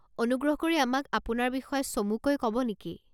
অনুগ্ৰহ কৰি আমাক আপোনাৰ বিষয়ে চমুকৈ ক'ব নেকি?